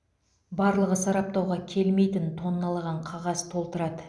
барлығы сараптауға келмейтін тонналаған қағаз толтырады